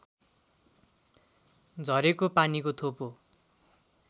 झरेको पानीको थोपो